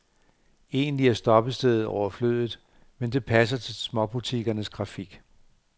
Egentlig er stoppestedet overflødigt, men det passer til småbutikkernes grafik.